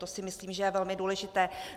To si myslím, že je velmi důležité.